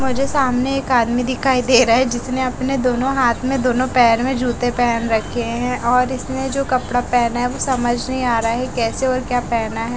मुझे सामने एक आदमी दिखाई दे रहा है जिसने अपने दोनों हाथ में दोनों पैर में जूते पहन रखे हैं और इसने जो कपड़ा पहना है वो समझ नहीं आ रहा है कैसे और क्या पहना है।